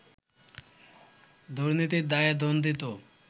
দুর্নীতির দায়ে দণ্ডিত